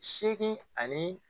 Seegin ani